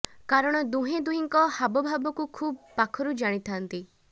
କାରଣ ହୁହେଁ ଦୁହିଁଙ୍କର ହାବ ଭାବକୁ ଖୁବ୍ ପାଖରୁ ଜାଣିଥାନ୍ତି